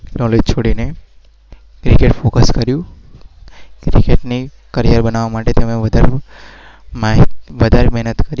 સ